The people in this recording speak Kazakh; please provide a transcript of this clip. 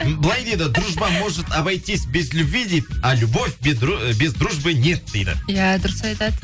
былай дейді дружба может обойтись без любви дейді а любовь ы без дружбы нет дейді иә дұрыс айтады